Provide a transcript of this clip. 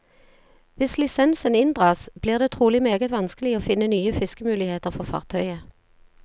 Hvis lisensen inndras, blir det trolig meget vanskelig å finne nye fiskemuligheter for fartøyet.